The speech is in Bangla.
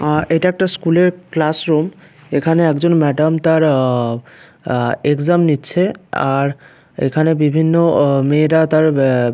আর এইটা একটা স্কুলের ক্লাস রুম । এখানে একজন ম্যাডাম তার আ আ এক্সাম নিচ্ছে আর এইখানে বিভিন্ন অ মেয়েরা তার বে--